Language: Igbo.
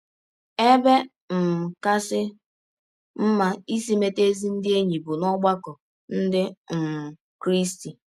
Ebe um kasị mma isi meta ezi ndị enyi bụ n’ọgbakọ ndị um Krịsti